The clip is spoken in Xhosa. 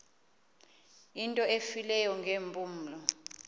into efileyo ngeempumlo